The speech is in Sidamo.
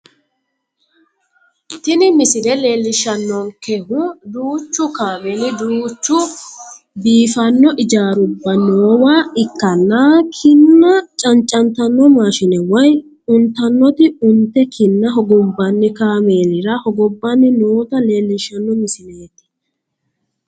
Tini misile leellishshannonkehu duuchu kaameli, duuchu biifanno ijaarubba noowa ikkanna kinna cancantanno maashine woy untannoti unte kinna hogobbanni kaameelira hogobbanni noota leellishshanno misileeti